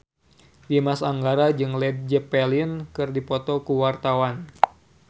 Dimas Anggara jeung Led Zeppelin keur dipoto ku wartawan